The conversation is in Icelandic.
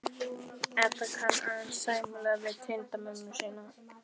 Edda kann aðeins sæmilega við tengdamömmu sína.